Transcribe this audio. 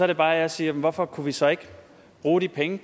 det bare jeg siger jamen hvorfor kunne vi så ikke bruge de penge